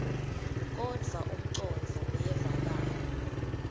kodvwa umcondvo uyevakala